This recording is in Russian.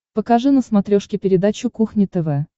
покажи на смотрешке передачу кухня тв